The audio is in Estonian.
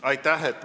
Aitäh!